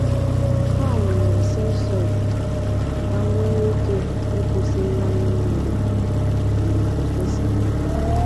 Ha wụnyere sensọ ifufe ka ha nwee ike kwụsị mmanye mmiri mgbe ifufe siri ike.